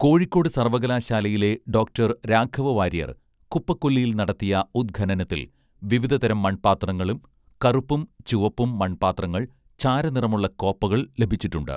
കോഴിക്കോട് സർവ്വകലാശാലയിലെ ഡോക്ടർ രാഘവ വാര്യർ കുപ്പക്കൊല്ലിയിൽ നടത്തിയ ഉദ്ഖനനത്തിൽ വിവിധതരം മൺപാത്രങ്ങളും കറുപ്പും ചുവപ്പും മൺ പാത്രങ്ങൾ ചാരനിറമുള്ള കോപ്പകൾ ലഭിച്ചിട്ടുണ്ട്